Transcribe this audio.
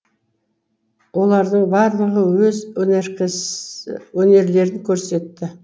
олардың барлығы өз өнерлерін көрсетті